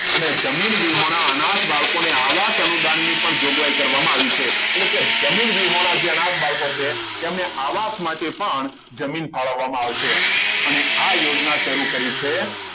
અને જમીન વિહોના અનાર્થ બાળકોને આવા સમુદાયની પણ જોગવાઈ કરવામાં આવી છે એટલે કે જમીન વિહોણા જે અને અનાર્થ બાળકો છે તેમને આવા આવાસ માટે પણ જમીન ફાળવવામાં આવશે અને આ યોજના શરૂ કરવી છે